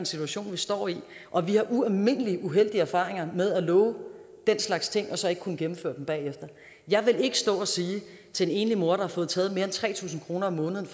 situation vi står i og vi har ualmindelig uheldige erfaringer med at love den slags ting og så ikke kunne gennemføre dem bagefter jeg vil ikke stå og sige til en enlig mor er frataget mere end tre tusind kroner om måneden